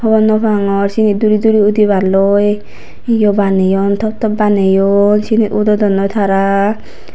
hobor nopangor sini duri duri udiballoi hiyo baneyon toptop baneyon sinit udodondoi tara.